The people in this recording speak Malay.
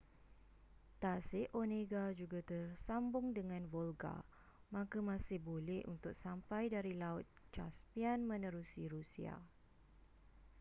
tasik onega juga tersambung dengan volga maka masih boleh untuk sampai dari laut caspian menerusi rusia